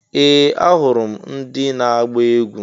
Ee! Ahụrụ m ndị na-agba egwu.